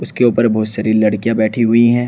उसके ऊपर बहोत सारी लड़कियां बैठी हुई है।